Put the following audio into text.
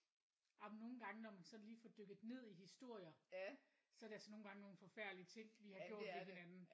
Jamen nogle gange når man sådan lige får dykket ned i historier så er det altså nogle gange nogle forfærdelige ting vi har gjort ved hinanden